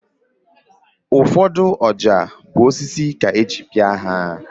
Ụfọdụ ọja bụ osisi ka eji pịa ha